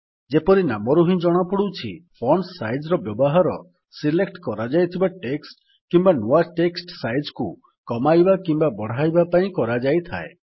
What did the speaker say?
ଯେପରି ନାମରୁ ହିଁ ଜଣାପଡୁଛି ଫଣ୍ଟ ସାଇଜ୍ ର ବ୍ୟବହାର ସିଲେକ୍ଟ କରାଯାଇଥିବା ଟେକ୍ସଟ୍ କିମ୍ୱା ନୂଆ ଟେକ୍ସଟ୍ ସାଇଜ୍ କୁ କମାଇବା କିମ୍ୱା ବଢ଼ାଇବା ପାଇଁ କରାଯାଇଥାଏ